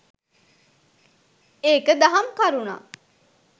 එක දහම් කරුණක්